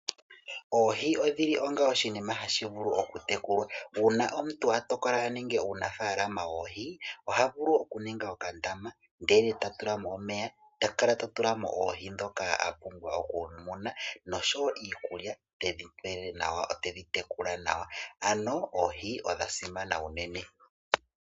Oohi odhili onga oshinima hashi vulu oku tekulwa. Uuna omuntu a tokola aninge uunafaalama woohi, oha vulu oku ninga okandama ndele ta tulamo omeya. Ta kala ta tula mo Oohi dhoka a pumbwa oku muna nosho wo iikulya tedhi pe nawa, tedhi tekula nawa. Ano oohi odha simana unene.